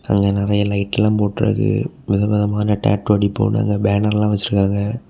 அங்கெ நெறைய லைட்டெல்லா போட்டு இருக்கு. விதவிதமான டேட்டோ அடிப்போன்னு போட்டு இருக்கு பேனர்ல வெச்சிருக்காங்க.